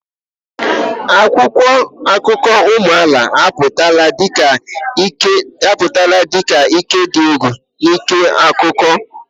Akwụkwọ akụkọ ụmụ amaala apụtala dị ka ike dị egwu n'ịkọ akụkọ.